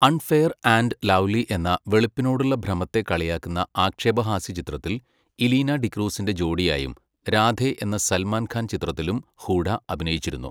Unfair and lovely എന്ന, വെളുപ്പിനോടുള്ള ഭ്രമത്തെ കളിയാക്കുന്ന ആക്ഷേപഹാസ്യചിത്രത്തിൽ ഇലീനാ ഡിക്രൂസിൻ്റെ ജോഡിയായും രാധെ എന്ന സൽമാൻ ഖാൻ ചിത്രത്തിലും ഹൂഡ അഭിനയിച്ചിരുന്നു .